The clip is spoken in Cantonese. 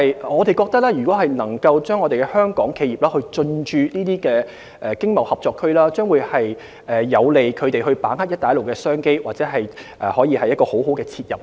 我們認為香港企業如能進駐這些經貿合作區，將有利它們把握"一帶一路"的商機，這是一個很好的切入點。